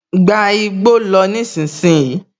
Gba igbó lọ nísinsìnyí!